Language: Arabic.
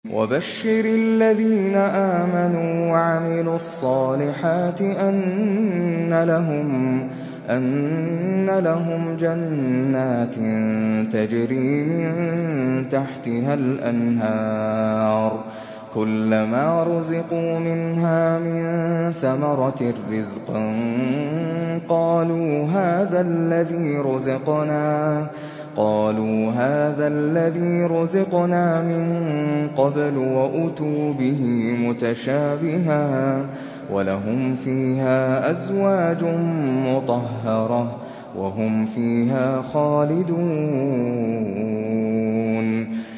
وَبَشِّرِ الَّذِينَ آمَنُوا وَعَمِلُوا الصَّالِحَاتِ أَنَّ لَهُمْ جَنَّاتٍ تَجْرِي مِن تَحْتِهَا الْأَنْهَارُ ۖ كُلَّمَا رُزِقُوا مِنْهَا مِن ثَمَرَةٍ رِّزْقًا ۙ قَالُوا هَٰذَا الَّذِي رُزِقْنَا مِن قَبْلُ ۖ وَأُتُوا بِهِ مُتَشَابِهًا ۖ وَلَهُمْ فِيهَا أَزْوَاجٌ مُّطَهَّرَةٌ ۖ وَهُمْ فِيهَا خَالِدُونَ